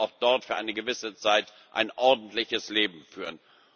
Sie können auch dort für eine gewisse Zeit ein ordentliches Leben führen.